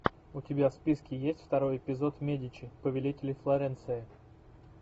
у тебя в списке есть второй эпизод медичи повелители флоренции